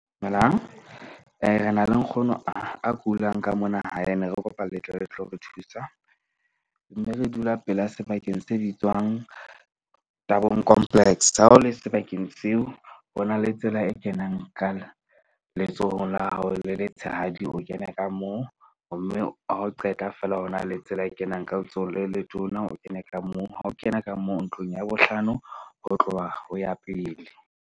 Dumelang re na le nkgono a kulang ka mona hae ne re kopa le tle le tlo re thusa. Mme re dula pela sebakeng se bitswang Durban complex. Ha o le sebakeng seo, ho na le tsela e kenang kana letsohong la hao le letshehadi, o kena ka moo. Mme ha o qeta fela, ho na le tsela e kenang ka letsohong le letona, o kene ka moo ha o kena ka mo ntlong ya bohlano ho tloha ho ya pele.